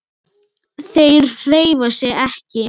Þeir hreyfa sig ekki!